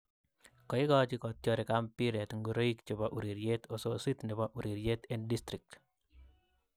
Kaigochi kotyorik ak mpiret ngoroik chepo ureryeet osisit nepo ureryreet en District